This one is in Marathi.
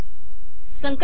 संकलित करु